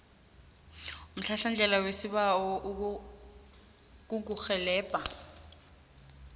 umhlahlandlela wesibawo ukukurhelebha